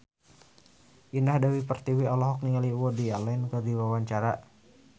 Indah Dewi Pertiwi olohok ningali Woody Allen keur diwawancara